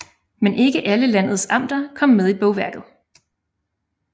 Men ikke alle landets amter kom med i bogværket